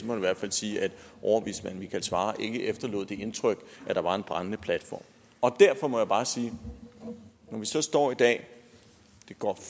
man i hvert fald sige at overvismand michael svarer ikke efterlod det indtryk at der var en brændende platform og derfor må jeg bare sige at når vi så står i dag og det går